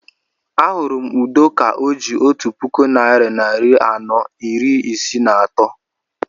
Ahụrụ m Udo ka o ji otu puku naira narị anọ iri isii na atọ